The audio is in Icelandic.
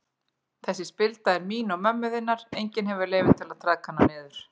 Þessi spilda er mín og mömmu þinnar, enginn hefur leyfi til að traðka hana niður.